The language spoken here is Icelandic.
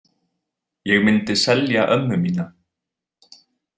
Ég myndi selja ömmu mína.